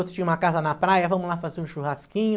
Outros tinham uma casa na praia, vamos lá fazer um churrasquinho.